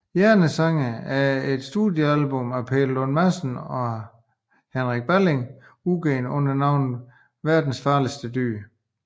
Hjernesange er et studiealbum af Peter Lund Madsen og Henrik Balling udgivet under navnet Verdens Farligste Dyr